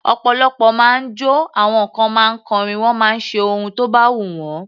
Ọ̀pọ̀lọpọ̀ ma ń jọ́, àwọn kan ma ń kọrin, wọ́n máa ń ṣe ohun tó bá wù wọ́n.